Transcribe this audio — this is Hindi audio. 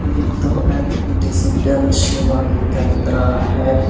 ये तो डिजिटल सेवा केंद्र है।